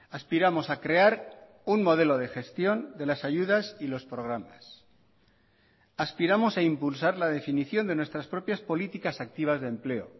aspiramos a crear un modelo de gestión de las ayudas y los programas aspiramos a impulsar la definición de nuestras propias políticas activas de empleo